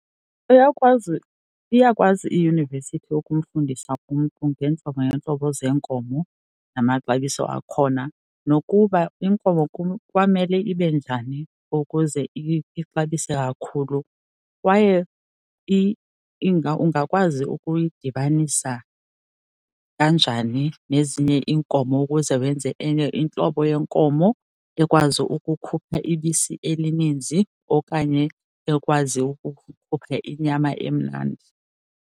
Uyakwazi, iyakwazi iyunivesithi ukumfundisa umntu ngeentlobo ngeentlobo zeenkomo namaxabiso akhona, nokuba iinkomo kwamele ibe njani ukuze ixabise kakhulu. Kwaye ungakwazi ukuyidibanisa kanjani nezinye iinkomo ukuze wenze enye intlobo yenkomo ekwazi ukukhupha ibisi elininzi okanye ekwazi ukukhupha inyama emnandi.